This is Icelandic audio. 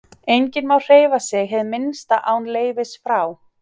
Enginn má hreyfa sig hið minnsta án leyfis frá